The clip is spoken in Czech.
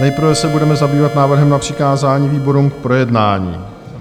Nejprve se budeme zabývat návrhem na přikázání výborům k projednání.